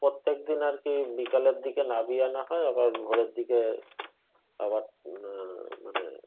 প্রত্যেকদিন আরকি বিকালের দিয়ে নামিয়ে আনা হয় আবার ভোরের দিকে আবার আহ মানে উম